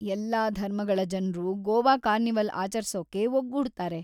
ಎಲ್ಲಾ ಧರ್ಮಗಳ ಜನ್ರೂ ಗೋವಾ ಕಾರ್ನಿವಲ್‌ ಆಚರ್ಸೋಕೆ ಒಗ್ಗೂಡ್ತಾರೆ.